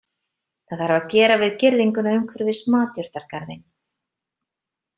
Það þarf að gera við girðinguna umhverfis matjurtagarðinn.